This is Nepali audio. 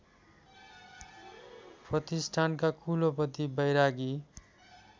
प्रतिष्ठानका कुलपति बैरागी